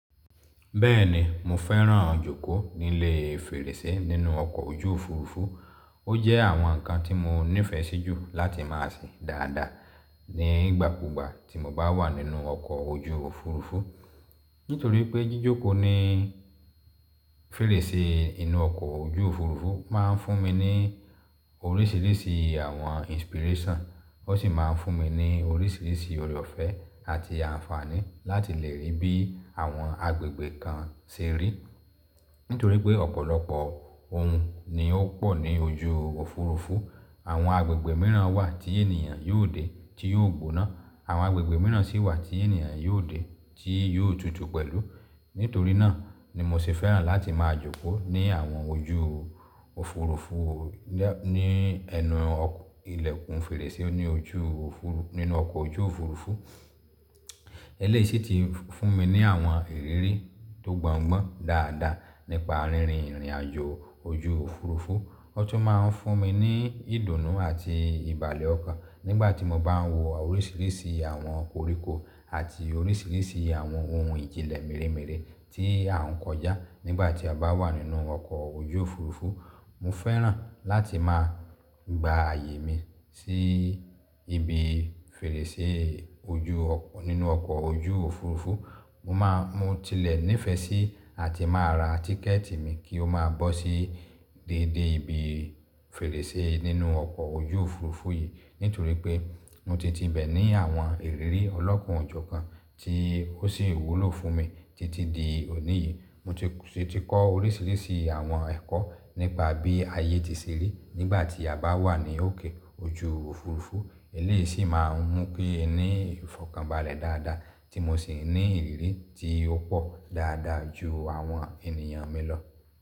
Bẹ́ẹ̀ni mo fẹ́ràn-an jókòó nílé fèrèsé nínú ọkọ̀ ojú Òfurufú. Ó jẹ́ àwọn nǹkan tí mo nífẹ̀ẹ́ sí jù láti má a ṣe dáadáa ní ìgbàkúgbà tí mo bá wà nínú ọkọ̀ ojú Òfurufú. Nítorí pé jíjókòó ní fèrèsé inú ọkọ̀ ojú Òfurufú máa ń fún mi ní oríṣiríṣi àwọn inspiration, ó sì máa ń fún mi ní oríṣiríṣi ọ̀rọ̀fẹ́ àti àǹfààní láti lè rí bí àwọn agbègbè kan ṣe rí. Nítorí pé ọ̀pọ̀lọpọ̀ ohun ni ó pọ̀ ní ojú Òfurufú. Àwọn agbègbè mìíràn wà tí ènìyàn yóò dé tí yóò gbóná. Àwọn agbègbè mìíràn sì wà tí ènìyàn yóò dé tí yóò tutù pẹ̀lú. Nítorí náà ni mo sì fẹ́ràn láti máa jókòó ní àwọn ojú Òfurufú lẹ́, ní ẹnu ọkù, ilẹ̀kùn fèrèsé oní ojú òfu, nínú ọkọ̀ ojú Òfurufú. Eléyìí sì ti fún mi ní àwọn ìrírí tó gbọ́ńgbọ́n dáadáa nípa rírin ìrìnàjò ojú Òfurufú. Ó tún máa ń fún mi ní ìdùnnú àti ìbàlẹ̀ ọkàn nígbà tí mo bá ń wo oríṣiríṣi àwọn koríko àti oríṣiríṣi àwọn ohun ìjìnlẹ̀ mèremère tí à ń kọjá nígbà tí a bá wà nínú ọkọ̀ ojú Òfurufú. Mo fẹ́ràn láti máa gba ààyè mi sí ibi fèrèsé ojú ọkọ̀, nínú ọkọ̀ ojú Òfurufú. Mo máa mo tilẹ̀ ní ìfẹ́ sí àti máa ra tíkẹ̀ẹ̀tì mi kí ó máa bọ́ sí déédé ibi fèrèsé nínú ọkọ̀ ojú Òfurufú yìí. Nítorí pé mo ti tibẹ̀ ní àwọn ìrírí ọlọ́kan o jọ̀ kan tí ó sì wúlò fún mi títí di òní yìí. Mo ti sì ti kọ́ oríṣiríṣi àwọn ẹ̀kọ́ nípa bí ayé ti ṣe rí nígbà tí a bá wà ní òkè ojú Òfurufú. Eléyìí sì máa ń mú kí n ni ìfọ̀kànbalẹ̀ dáadáa tí mo sì ní ìrírí tí ó pọ̀ dáadáa ju àwọn ènìyàn mi lọ.